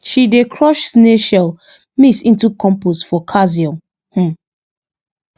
she dey crush snail shell mix into compost for calcium um